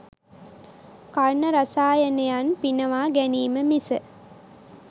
කර්ණරසායනයන් පිනවා ගැනීම මිස